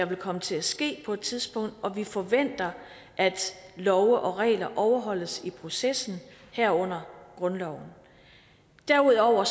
vil komme til at ske på et tidspunkt og vi forventer at love og regler overholdes i processen herunder grundloven derudover